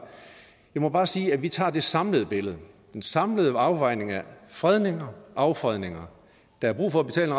jeg må bare sige at vi tager det samlede billede den samlede afvejning af fredninger og affredninger der er brug for at betale